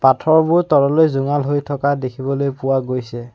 পাথৰবোৰ তললৈ জোঙাল হৈ থকা দেখিবলৈ পোৱা গৈছে।